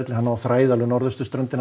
hann á að þræða austurströndina